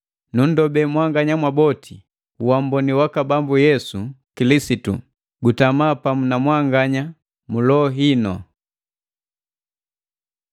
Nunndobee mwanganya mwaboti uamboni waka Bambu Yesu Kilisitu gutama pamu na mwanganya mu loho inu.